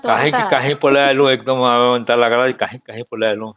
କାହିଁକି କହି ପଳେଇ ଆସିଲୁ ଏନ୍ତା ଲାଗିଲା କାହିଁ କାହିଁ ପଳେଇ ଆସିଲୁ